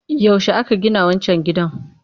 Yaushe aka gina wancan gidan?